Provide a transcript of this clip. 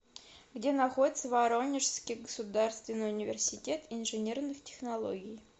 где находится воронежский государственный университет инженерных технологий